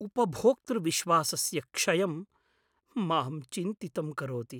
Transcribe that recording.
उपभोक्तृविश्वासस्य क्षयं मां चिन्तितं करोति।